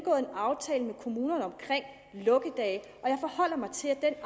aftale med kommunerne omkring lukkedage og jeg forholder mig til at